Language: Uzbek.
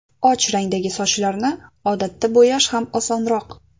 Och rangdagi sochlarni odatda bo‘yash ham osonroq.